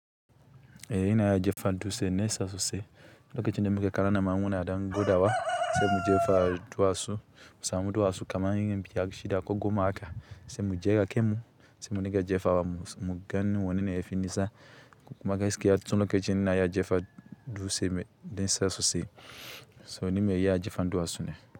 Eh, ina jefa dutse nesa sosai, lokacin da muke ƙanana ma muna ɗan gwada wa, sai mu jefa duwatsu, mu samu duwatsu kaman irin biyar, shida, ko goma haka sai mu dinga jefawa sai muga wanne ne yafi nisa kuma gaskiya tun lokacin ina iya jefa dutse da nisa sosai, so ni me iya jifan duwatsu ne.